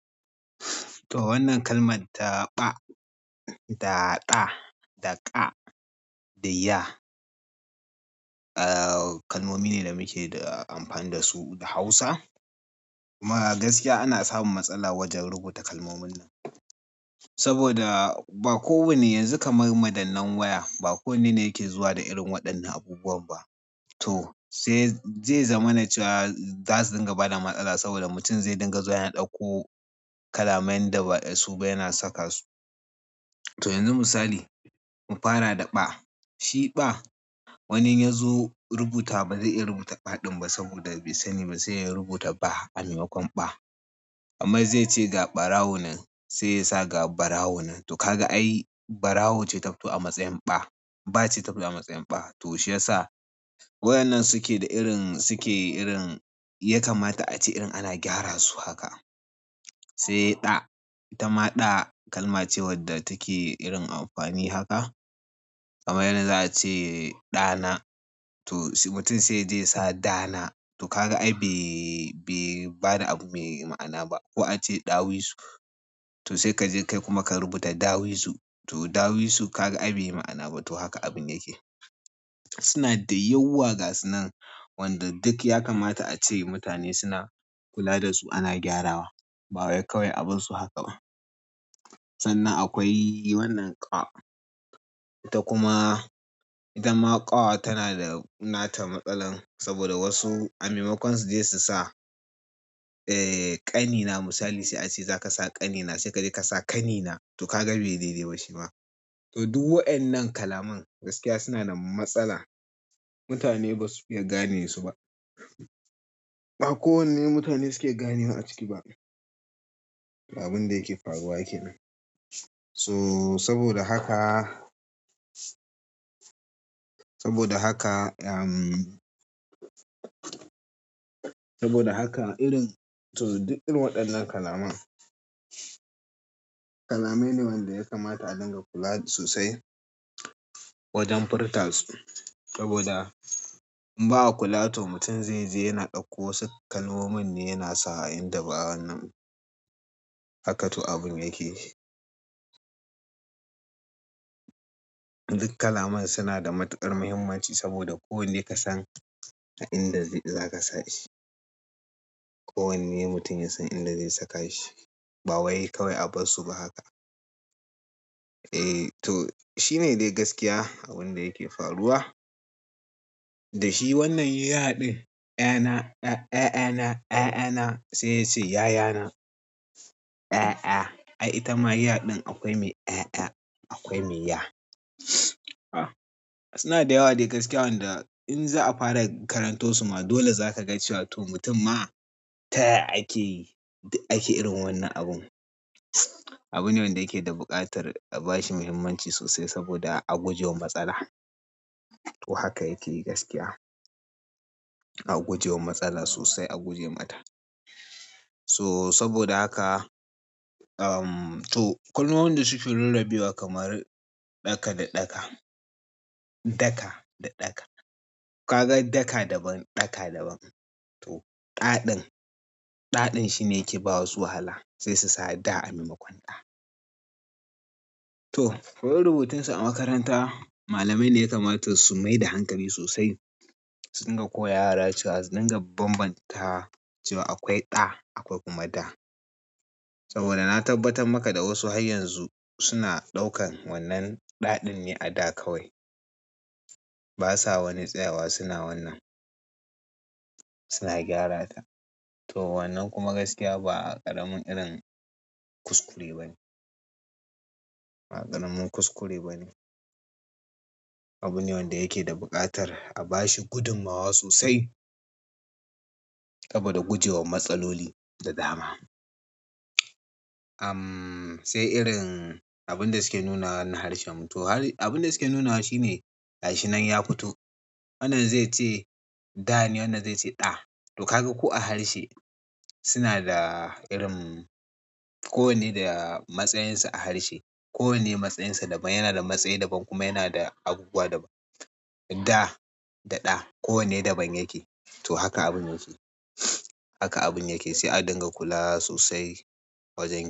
To wannan kalmar ta ɓa, da ƙa, da ƙa da ya, eh kalmomi ne da muke da amfani da su da Hausa. Kuma gaskiya ana samun matsala wajen rubuta kalmomin nan. Saboda ba kowanne yanzu kamar madannai waya ba kowanne ne yake zuwa da irin waɗannan abubuwan ba. To zai zama na cewa za su dinga bada matsala saboda mutum zai dinga zuwa yana ɗauko kalaman da ba ya so ba yana saka su. To yanzu misali mu fara da ɓa. Shi ɓa wani ya zo rubuta ba zai iya rubuta ɓa ɗin ba saboda bai sani ba sai ya rubuta ba a maimakon ɓa. Amma zai ce ga ɓarawo nan sai ya sa ga barawo nan. To kaga ai barawon ce ta fito a matsayin ɓa. Ba ce ta fito a matsayin ba. To shiyasa wayannan suke da irin sike irin ya kamata ace ana irin ana gyaran su haka. Sai ɗa, ita ma ɗa kalma ce wadda take irin amfani haka. Kamai yanzu za a ce ɗana to mutum sai ya je ya sa dana. To kaga ai bai bai bada abu mai ma'ana ba. Ko a ce ɗawisu to sai ka je kai kuma ka rubuta dawisu. To dawisu kaga ai bai yi ma'ana ba. To haka abin yake. Suna da yawa gasi nan wanda duk ya kamata a ce mutane suna kula da su ana gyarawa. Ba wai kawai abunsu haka ba. Sannan akwai wannan ƙa. Ita kuma ita ma ƙa tana da nata matsalan saboda wasu a maimakon suje su sa eh ƙanina misali sai a ce za ka sa ƙanina sai ka je ka sa kanina. To kaga bai da daina shi ba. To duk waɗannan kalaman gaskiya suna da matsala. Mutane ba su iya gane su ba. Ba kowanne mutane suke gane wa a ciki ba. Abin da yake faruwa kenan. To saboda haka, saboda haka, am saboda haka irin to duk irin waɗannan kalaman. Kalamai ne wanda ya kamata a dinga kula sosai wajen furta su. Saboda in ba a kula to mutum zai je yana ɗauko wasu kalmomin ne yana sa a inda ba'a wannan ba. Haka to abin yake shi. Duk kalaman suna da matuƙar muhimmanci saboda kowanne ka san a inda zai za ka sa shi. Kowanne mutum ya san inda zai saka shi. Ba wai kawai abunsu ba haka. Eh to shi ne dai gaskiya abin da yake faruwa. Da shi wannan ya ɗin ƴana, ya, ƴana, ƴana sai ya ce yayana. Ƴa, ƴa ai ita ma ya ɗin akwai mai ƴa, akwai mai ya. Suna da yawa dai gaskiya wanda in za a fara karanto su ma dole za ka ga cewa to mutum ma ta ya akeyi duk ake irin wannan abun. Abune wanda yake da buƙatar a bashi muhimmanci sosai saboda a gujewa matsala. To haka yake yi gaskiya. A gujewa matsala sosai a guje mata. To saboda haka, ehm to kalmomin da suke nuna biyu kamar ɗaka da ɗaka. Daka da ɗaka. Ka ga daka daban, ɗaka daban. To ƙa ɗin, ɗa ɗin shine yake bawa wasu wahala sai su sa da a maimakon ɗa. To koyan rubutun su a makaranta malamai ne ya kamata su mai da hankali sosai. Su dinga koya wa yara cewa dinga banbanta cewa akwai ɗa akwai kuma da. Saboda na tabbatar maka da wasu har yanzu suna ɗaukan wannan ɗa ɗin ne a da kawai. Ba sa wani tsayawa suna wannan. Suna gyara ta. To wannan kuma gaskiya ba ƙaramin irin kuskure bane. Ba ƙaramin kuskure ba ne. Abune wanda yake da buƙatar a bashi gudunmawa sosai. Saboda gujewa matsaloli da dama. Ahm sai irin abin da suke nuna wannan harshen mu. To abin da suke nuna shi ne harshenan ya fito. Wannan zai ce ga ne wannan zai ce ɗa. To kaga ko a harshe sina da irin kowane da matsayinsa a harshe kowane matsayinsa daban yana da matsayinsa daban kuma yana da abubuwa da. Da da ɗa. Kowanne daban yake. To haka abun yake. Haka abun yake. Sai a dinga kula sosai wajen.